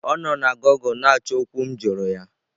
Ọ nọ na gụgle na-achọ okwu m jụrụ ya.